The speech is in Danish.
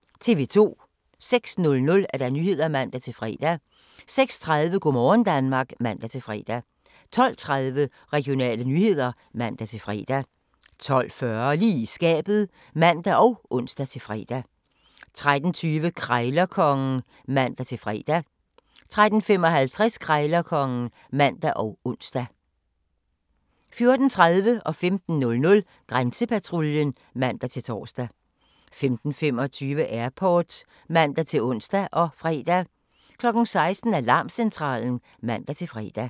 06:00: Nyhederne (man-fre) 06:30: Go' morgen Danmark (man-fre) 12:30: Regionale nyheder (man-fre) 12:40: Lige i skabet (man og ons-fre) 13:20: Krejlerkongen (man-fre) 13:55: Krejlerkongen (man og ons) 14:30: Grænsepatruljen (man-tor) 15:00: Grænsepatruljen (man-tor) 15:25: Airport (man-ons og fre) 16:00: Alarmcentralen (man-fre)